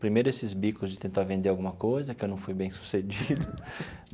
Primeiro esses bicos de tentar vender alguma coisa, que eu não fui bem sucedido.